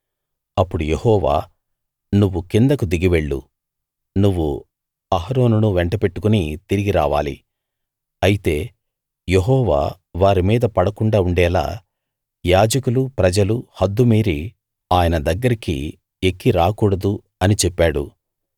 అప్పుడు యెహోవా నువ్వు కిందకు దిగి వెళ్లు నువ్వు అహరోనును వెంటబెట్టుకుని తిరిగి రావాలి అయితే యెహోవా వారి మీద పడకుండా ఉండేలా యాజకులు ప్రజలు హద్దు మీరి ఆయన దగ్గరికి ఎక్కి రాకూడదు అని చెప్పాడు